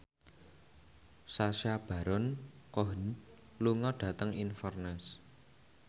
Sacha Baron Cohen lunga dhateng Inverness